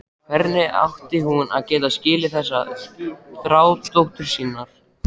Hvernig átti hún að geta skilið þessa þrá dóttur sinnar?